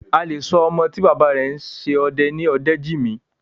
A lè sọ ọmọ tí bàbá rẹ̀ ń ṣe ọdẹ ní Ọdẹ́jìmí.